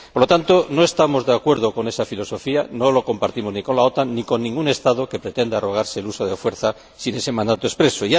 Por lo tanto, no estamos de acuerdo con esa filosofía, no la compartimos ni con la OTAN, ni con ningún Estado que pretenda arrogarse el uso de la fuerza sin ese mandato expreso.